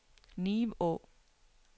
Nivå